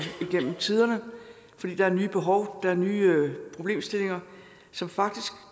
igennem tiderne fordi der er nye behov der er nye problemstillinger som faktisk